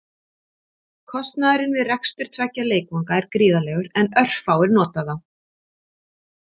Kostnaðurinn við rekstur tveggja leikvanga er gríðarlegur en örfáir nota þá.